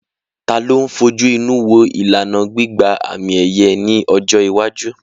Ta ló ń fojú inú wo ìlànà gbígba àmì-ẹ̀yẹ ní ọjọ́ iwájú?